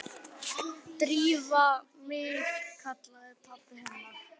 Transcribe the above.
Drífa mín- kallaði pabbi hennar.